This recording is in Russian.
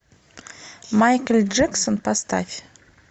майкл джексон поставь